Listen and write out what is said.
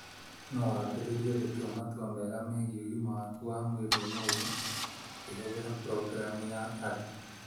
No wambĩrĩrie gũtua matua mega megiĩ ũgima waku wa mwĩrĩ ũmũthĩ, ũkĩhũthĩra programu ya Ada.